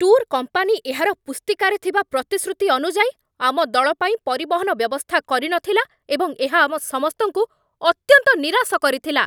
tour company ଏହାର ପୁସ୍ତିକାରେ ଥିବା ପ୍ରତିଶ୍ରୁତି ଅନୁଯାୟୀ ଆମ ଦଳ ପାଇଁ ପରିବହନ ବ୍ୟବସ୍ଥା କରିନଥିଲା ଏବଂ ଏହା ଆମ ସମସ୍ତଙ୍କୁ ଅତ୍ୟନ୍ତ ନିରାଶ କରିଥିଲା